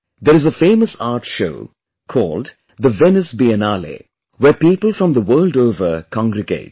There is a famous art show called the Venice Biennale', where people from the world over congregate